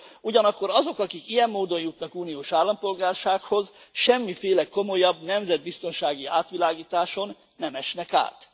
Ugyanakkor azok, akik ilyen módon jutnak uniós állampolgársághoz, semmiféle komolyabb nemzetbiztonsági átvilágításon nem esnek át.